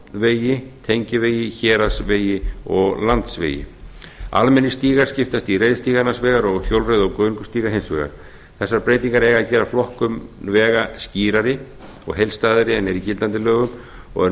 stofnvegi tengivegi héraðsvegi og landsvegi almennir stígar skiptast í reiðstíga annars vegar og hjólreiða og göngustíga hins vegar þessar breytingar eiga að gera flokkun vega skýrari og heildstæðari en er í gildandi lögum og er